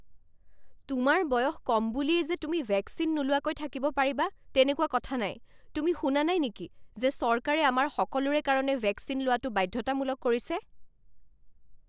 তোমাৰ বয়স কম বুলিয়েই যে তুমি ভেকচিন নোলোৱাকৈ থাকিব পাৰিবা তেনেকুৱা কথা নাই। তুমি শুনা নাই নেকি যে চৰকাৰে আমাৰ সকলোৰে কাৰণে ভেকচিন লোৱাটো বাধ্যতামূলক কৰিছে?